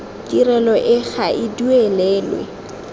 tirelo e ga e duelelwe